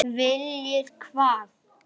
Viljir hvað?